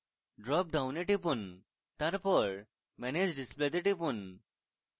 drop ডাউনে টিপুন তারপর manage display তে টিপুন